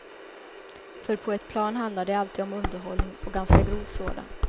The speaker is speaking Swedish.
För på ett plan handlar det alltid om underhållning, och ganska grov sådan.